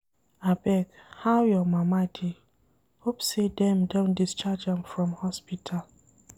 Abeg, how your mama dey, hope sey dem don discharge her from hospital.